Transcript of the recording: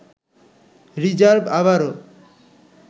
reserve আবারও